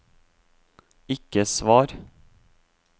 ikke svar